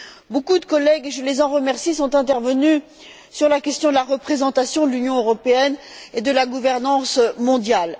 Beaucoup de collègues et je les en remercie sont intervenus sur la question de la représentation de l'Union européenne et de la gouvernance mondiale.